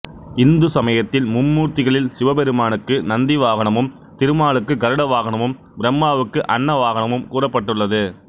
இந்து சமயத்தில் மும்மூர்த்திகளில் சிவபெருமானுக்கு நந்தி வாகனமும் திருமாலுக்கு கருட வாகனமும் பிரம்மாவுக்கு அன்ன வாகனமும் கூறப்பட்டுள்ளது